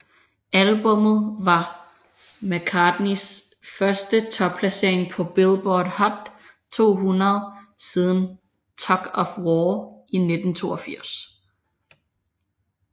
Albummet var McCartneys første topplacering på Billboard Hot 200 siden Tug of War i 1982